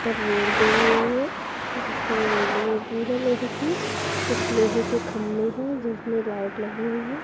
Road गई हुई है जिसमे रेलिंग लगी है लोहे की। कुछ लोहे के खंबे हैं जिसमे लाईट लगी हुई है।